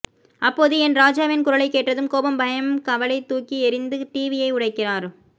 அப்போது என் ராஜாவின் குரலை கேட்டதும் கோபம் பயம் கவலை தூக்கி எறிந்து டிவியை உடைக்கிறார்